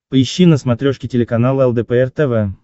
поищи на смотрешке телеканал лдпр тв